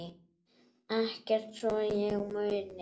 Ekkert svo ég muni.